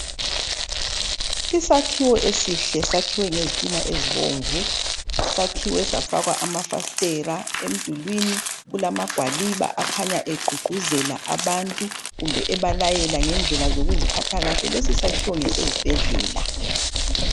Isakhiwo esihle sakhiwe ngezitina ezibomvu sakhiwe safakwa amafastela emdulwini kulamagwaliba akhanya egqugquzela abantu kumbe ebalayela ngendlela zookuziphatha kahle, lesi sakhiwo ngesezibhedlela.